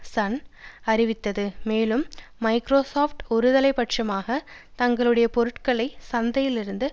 Sun அறிவித்தது மேலும் Microsoft ஒருதலை பட்சமாக தங்களுடைய பொருட்களைச் சந்தையிலிருந்து